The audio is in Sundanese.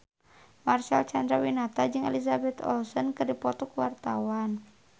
Marcel Chandrawinata jeung Elizabeth Olsen keur dipoto ku wartawan